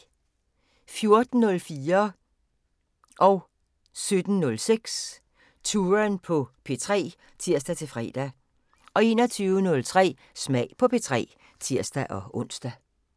14:04: Touren på P3 (tir-fre) 17:06: Touren på P3 (tir-fre) 21:03: Smag på P3 (tir-ons)